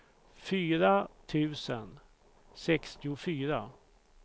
fyra tusen sextiofyra